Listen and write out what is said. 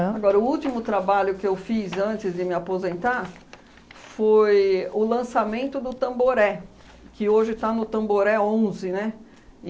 Agora, o último trabalho que eu fiz antes de me aposentar foi o lançamento do Tamboré, que hoje está no Tamboré Onze, né?